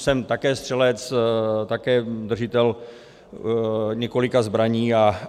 Jsem také střelec, také držitel několika zbraní.